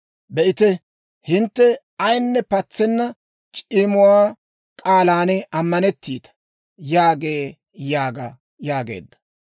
Be'ite! Hintte ayinne patsenna c'imuwaa k'aalan ammanettiita» yaagee› yaaga» yaagee.